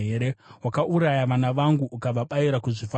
Wakauraya vana vangu ukavabayira kuzvifananidzo.